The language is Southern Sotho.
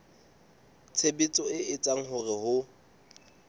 tshebetso e etsang hore ho